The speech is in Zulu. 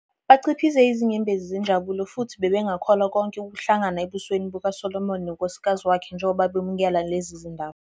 Bachiphize izinyembezi zenjabulo futhi bebengakholwa konke kuhlangene ebusweni bukaSolomon nonkosikazi wakhe njengoba bemukela lezi zindaba.